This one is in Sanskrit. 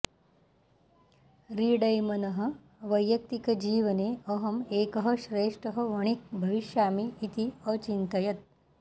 रिडैमनः वैयक्तिकजीवने अहं एकः श्रेष्ठः वणिक् भविष्यामि इति अचिन्तयत्